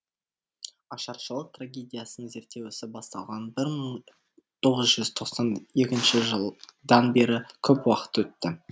ашаршылық трагедиясын зерттеу ісі басталған бір мың тоғыз жүз тоқсан екінші жылдан бері көп уақыт өтті